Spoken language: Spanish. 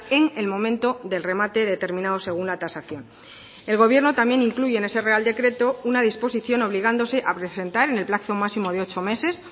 en el momento del remate determinado según la tasación el gobierno también incluye en ese real decreto una disposición obligándose a presentar en el plazo máximo de ocho meses